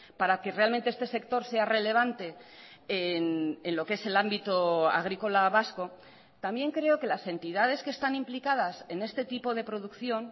para que realmente este sector sea relevante en lo que es el ámbito agrícola vasco también creo que las entidades que están implicadas en este tipo de producción